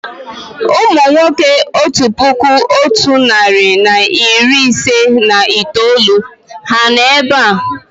Ụmụ nwoke otu puku otu narị na iri ise na itoolu ha nọ̀ èbé à?